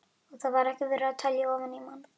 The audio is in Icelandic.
Og þar var ekki verið að telja ofan í mann.